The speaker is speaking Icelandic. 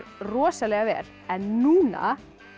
rosalega vel en núna